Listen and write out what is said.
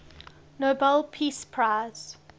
nobel peace prize